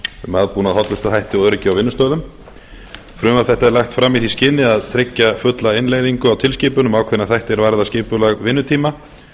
um aðbúnað hollustuhætti og öryggi á vinnustöðum frumvarp þetta er lagt fram í því skyni að tryggja fulla innleiðingu á tilskipun um ákveðna þætti er varðar skipulag vinnutíma